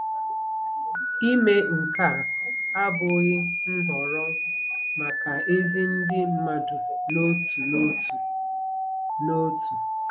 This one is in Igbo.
Ime nke a abụghị nhọrọ maka ezi ndị mmadụ n'otu n'otu. n'otu.